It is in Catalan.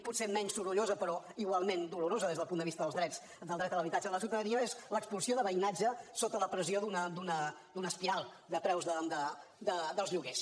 potser menys sorollosa però igualment dolorosa des del punt de vista del dret a l’habitatge de la ciutadania que és l’expulsió de veïnatge sota la pressió d’una espiral de preus dels lloguers